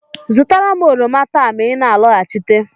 Zụtara m oroma taa ma ị na-alọghachite!